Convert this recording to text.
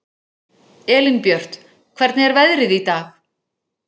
Elínbjört, hvernig er veðrið í dag?